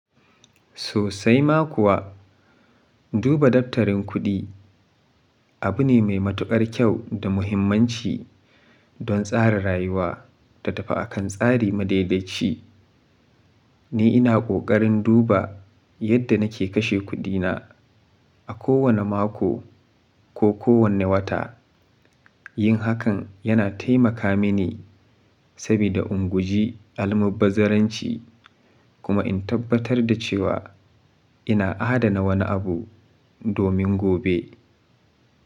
Sosai ma kuwa, duba daftarin kuɗi abu ne mai matuƙar kyau da muhimmanci don tsara rayuwa ta tafi akan tsari madaidaici. Ni ina ƙoƙarin duba yadda nake kashe kuɗina a kowane mako ko kowane wata. Yin hakan yana taimaka mini sabida inguji almubbazaranci kuma in tabbatar da cewa ina adana wani abu domin gobe.